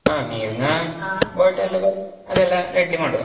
ಹಾ ನೀರಿನ bottle ಗಳು ಅದೆಲ್ಲ ready ಮಾಡುವ.